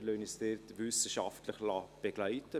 wir lassen uns dort wissenschaftlich begleiten.